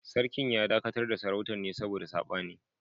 Sarkin ya dakatar da Sarautar ne saboda sabani